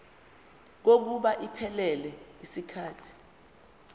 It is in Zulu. kokuba iphelele yisikhathi